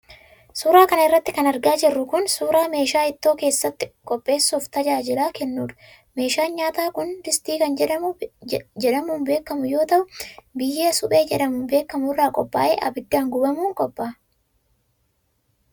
Suura kana irratti kan argaa jirru kun, suura meeshaa ittoo keessatti qopheessuuf tajaajila kennuudha. Meeshaan nyaataa kun distii kan jedhamuun beekamu yoo ta'u, biyyee suphee jedhamuun beekamu irraa qophaa'ee ibiddaan gubamuun qopha'a.